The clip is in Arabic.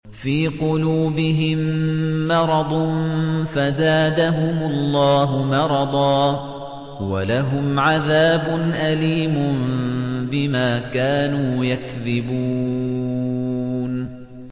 فِي قُلُوبِهِم مَّرَضٌ فَزَادَهُمُ اللَّهُ مَرَضًا ۖ وَلَهُمْ عَذَابٌ أَلِيمٌ بِمَا كَانُوا يَكْذِبُونَ